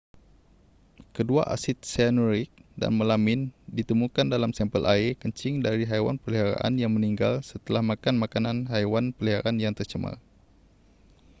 kedua asid sianurik dan melamin ditemukan dalam sampel air kencing dari haiwan peliharaan yang meninggal setelah makan makanan haiwan peliharaan yang tercemar